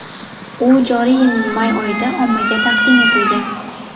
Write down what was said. U joriy yilning may oyida ommaga taqdim etilgan.